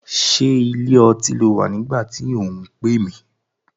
Ṣé ilé ọtí ló wà nígbà tí ò ń pè mí?